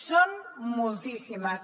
són moltíssimes